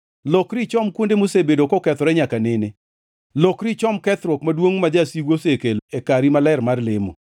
Lokri ichom kuonde mosebedo kokethore nyaka nene, lokri ichom kethruok maduongʼ ma jasigu osekelo e kari maler mar lemo.